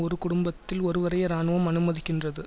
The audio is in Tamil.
ஒரு குடும்பத்தில் ஒருவரையே இராணுவம் அனுமதிக்கின்றது